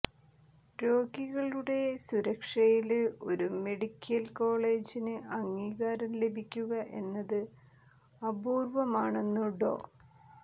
രോഗികളുടെ സുരക്ഷയില് ഒരു മെഡിക്കല് കോളജിന് അംഗീകാരം ലഭിക്കുക എന്നത് അപൂര്വമാണെന്നു ഡോ